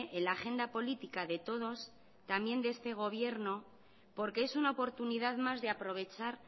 en la agenda política de todos también de este gobierno porque es una oportunidad más de aprovechar